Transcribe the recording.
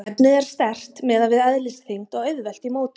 Efnið er sterkt miðað við eðlisþyngd og auðvelt í mótun.